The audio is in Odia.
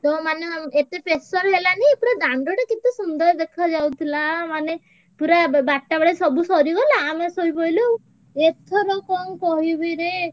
ପୁରା ଦାଣ୍ଡ ଟା କେତେ ସୁନ୍ଦର ଦେଖାଯାଉଥିଲା ମାନେ ପୁରା ବାରଟା ବେଳେ ସବୁ ସରିଗଲା ଆମେ ଶୋଇପଡିଲୁ। ଏଥର କଣ କହିବିରେ?